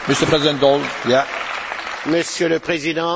Je ne peux pas accepter ce que vous avez dit.